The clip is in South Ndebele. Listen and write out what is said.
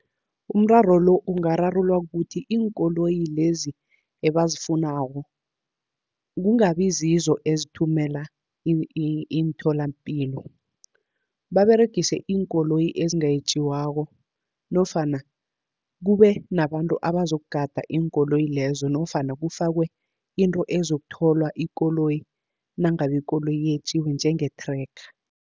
Umraro lo ungararululwa kukuthi iinkoloyi lezi ebazifunako, kungabi zizo ezithumela imtholapilo. Baberegise iinkoloyi ezingetjiwako nofana kube nabantu abazokugada iinkoloyi lezo, nofana kufakwe into ezokutholwa ikoloyi nangabe ikoloyi yetjiwe njenge-tracker.